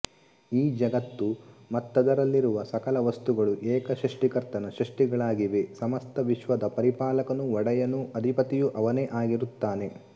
ಈ ಜಗತ್ತು ಮತ್ತದರಲ್ಲಿರುವ ಸಕಲ ವಸ್ತುಗಳೂ ಏಕ ಸ್ರಷ್ಟಿಕರ್ತನ ಸ್ರಷ್ಟಿಗಳಾಗಿವೆ ಸಮಸ್ತ ವಿಶ್ವದ ಪರಿಪಾಲಕನೂ ಒಡೆಯನೂ ಅಧಿಪತಿಯೂ ಅವನೇ ಆಗಿರುತ್ತಾನೆ